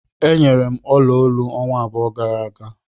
E nyere m olu olu ọnwa abụọ gara aga.